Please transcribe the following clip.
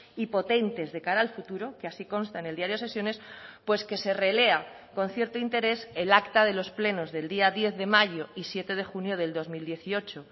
y potentes de cara al futuro que así consta en el diario de sesiones pues que se relea con cierto interés el acta de los plenos del día diez de mayo y siete de junio del dos mil dieciocho